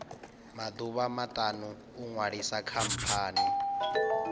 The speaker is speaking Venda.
maḓuvha maṱanu u ṅwalisa khamphani